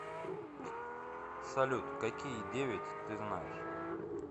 салют какие девять ты знаешь